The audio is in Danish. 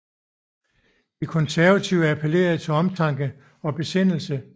De konservative appellerede til omtanke og besindelse